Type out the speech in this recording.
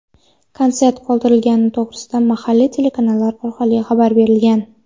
Konsert qoldirilgani to‘g‘risida mahalliy telekanallar orqali xabar berilgan.